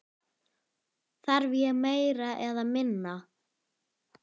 Þarf ég meira eða minna?